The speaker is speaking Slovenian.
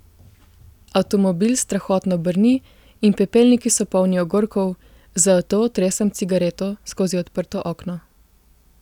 Avtomobil strahotno brni in pepelniki so polni ogorkov, zato otresam cigareto skozi odprto okno.